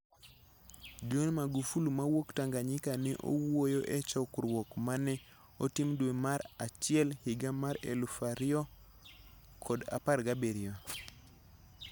John Magufuli mawuok Tanganyika ne owuoyo e chokruok ma ne otim dwe mara bich 1, 2017.